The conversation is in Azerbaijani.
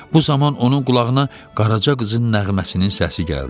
Bu zaman onun qulağına Qaraca qızın nəğməsinin səsi gəldi.